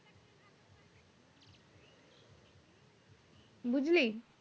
বুঝলি